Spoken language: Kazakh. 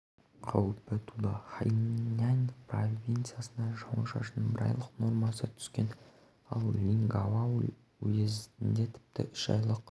қаупі туды хайнань провинциясында жауын-шашынның бір айлық нормасы түскен ал линьгао уезінде тіпті үш айлық